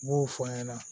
N b'o fɔ an ɲɛna